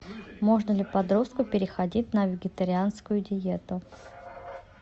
можно ли подростку переходить на вегетарианскую диету